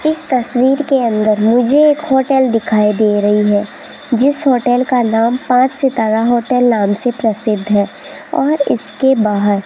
इस तस्वीर के अंदर मुझे एक होटल दिखाई दे रही है जिस होटल का नाम पांच सितारा होटल नाम से प्रसिद्ध है और इसके बाहर --